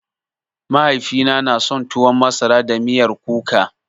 Mahaifina na son tuwan masara da miyar kuka